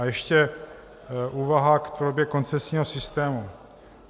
A ještě úvaha k podobě koncesního systému.